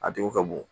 A tigi ka bon